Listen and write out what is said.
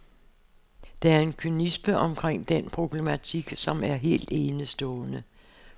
Der er en kynisme omkring den problematik, som er helt enestående.